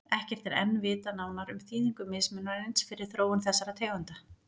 Ekkert er enn vitað nánar um þýðingu mismunarins fyrir þróun þessara tegunda.